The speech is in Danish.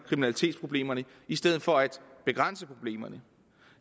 kriminalitetsproblemerne i stedet for at begrænse problemerne